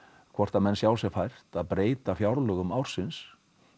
hvort sjái sér fært að breyta fjárlögum ársins